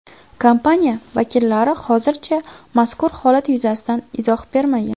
Kompaniya vakillari hozircha mazkur holat yuzasidan izoh bermagan.